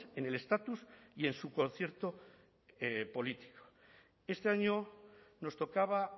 en el estatus y en su concierto político este año nos tocaba